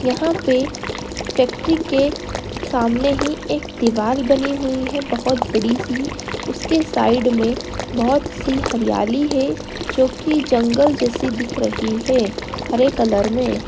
यहाँ पे फैक्ट्री के सामने ही एक दीवाल बनी हुई है बहुत बड़ी सी उसके साइड में बहुत ही हरियाली है जो की जंगल जैसी दिख रही है हरे कलर में।